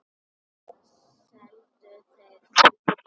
Annars seldu þeir þýfið.